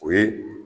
O ye